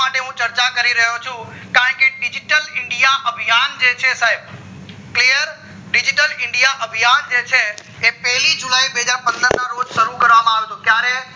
હું ચર્ચા કરી રહ્યો ચુ કારણ કે digital india અભિયાન જે છે સાયબ clear digital india અભિયા જે છે એ પેલી જુલાય બે હજાર પંદર ના રોજ શરુ કરવામ આવ્યો હતો ક્યારે